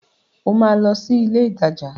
O máa lọ sí ilé-ìtajà.